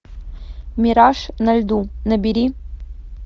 мираж на льду набери